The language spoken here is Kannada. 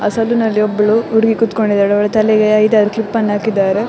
ಅ ಸಲ್ಲ್ ನಲ್ಲಿ ಒಬ್ಬಳು ಹುಡುಗಿ ಕೂತ್ಕೊಂಡಿದ್ದಾಳೆ ಅವಳ ತಲೆಗೆ ಐದಾರು ಕ್ಲಿಪ್ ಅನ್ನ ಹಾಕಿದ್ದಾರೆ.